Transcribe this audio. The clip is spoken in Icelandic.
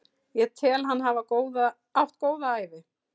Ég tel hann hafa átt góða ævi.